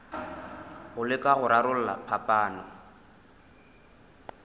go leka go rarolla phapano